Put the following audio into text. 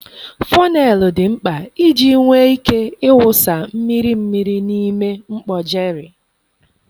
fọneelu dị mkpa iji nwee ike ịwụsa mmiri mmiri n'ime mkpọ jerry.